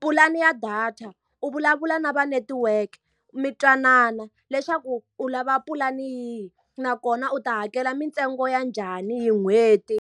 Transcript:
Pulani ya data, u vulavula na vanetiweke mi twanana leswaku u lava pulani yihi nakona u ta hakela mintsengo ya njhani hi n'hweti.